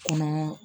Kɔnɔ